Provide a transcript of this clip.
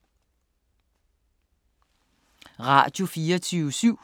Radio24syv